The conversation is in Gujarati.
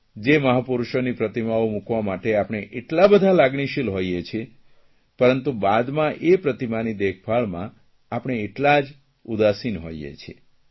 જે મહાપૂરૂષોની પ્રતિમાઓ મૂકવા માટે આપણે એટલા બધા લાગણીશીલ હોઇએ છીએ પરંતુ બાદમાં પ્રતિમાની દેખભાળમાં આપણે એટલા જ ઉદાસીન હોઇએ છીએ